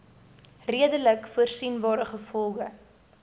redelik voorsienbare gevolge